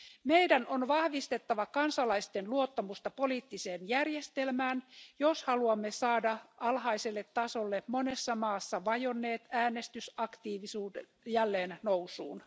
Meidän on vahvistettava kansalaisten luottamusta poliittiseen järjestelmään, jos haluamme saada alhaiselle tasolle monessa maassa vajonneen äänestysaktiivisuuden jälleen nousuun.